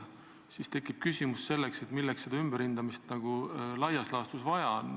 Siis tekib küsimus, miks seda ümberhindamist laias laastus vaja on.